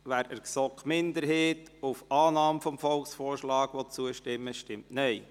wer dem Antrag GSoK-Minderheit auf Annahme des Volksvorschlags zustimmen will, stimmt Nein.